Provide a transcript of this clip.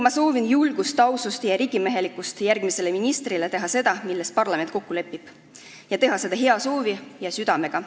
Ma soovin järgmisele ministrile julgust, ausust ja riigimehelikkust teha seda, milles parlament kokku lepib, ning teha seda hea tahte ja südamega.